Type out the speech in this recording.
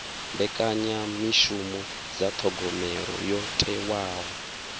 mbekanyamishumo dza thogomelo yo thewaho